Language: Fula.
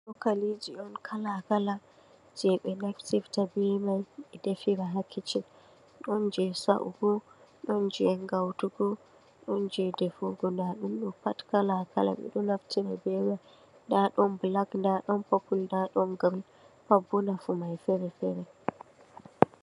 Chokaliji un kala kala jei be naftirta be mai be defira ha kicin , don jei sa'ugo, don jei gautugo, don jei defugo, dadum do pat kala kala, bedo naftira be mai, nda don balak, nda don pupul, nda don girin, pat boh nafu mai fere fere.